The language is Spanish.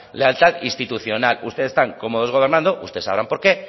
lealtad institucional ustedes están cómodos gobernando ustedes sabrán por qué